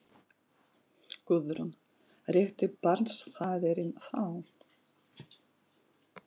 Guðrún: Rétti barnsfaðirinn þá?